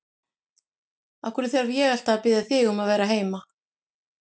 Af hverju þarf ég alltaf að biðja þig um að vera heima?